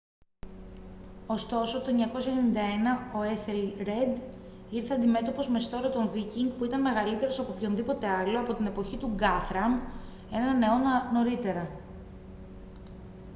ωστόσο το 991 ο έθελρεντ ήρθε αντιμέτωπος με στόλο των βίκινγκ που ήταν μεγαλύτερος από οποιονδήποτε άλλο από την εποχή του γκάθραμ έναν αιώνα νωρίτερα